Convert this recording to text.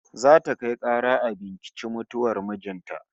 Za ta kai kara a binciki mutuwar mijin ta